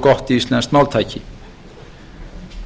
gott íslenskt máltæki